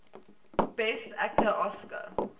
best actor oscar